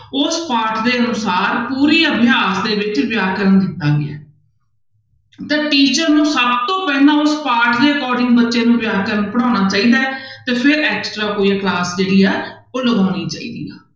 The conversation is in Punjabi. ਉਸ ਪਾਠ ਦੇ ਅਨੁਸਾਰ ਪੂਰੀ ਅਭਿਆਸ ਦੇ ਵਿੱਚ ਵਿਆਕਰਨ ਦਿੱਤਾ ਗਿਆ ਹੈ ਤਾਂ teacher ਨੂੰ ਸਭ ਤੋਂ ਪਹਿਲਾਂ ਉਸ ਪਾਠ ਦੇ according ਬੱਚੇ ਨੂੰ ਵਿਆਕਰਨ ਪੜ੍ਹਾਉਣਾ ਚਾਹੀਦਾ ਹੈ ਤੇ ਫਿਰ extra class ਜਿਹੜੀ ਹੈ ਉਹ ਲਗਾਉਣੀ ਚਾਹੀਦੀ ਹੈ।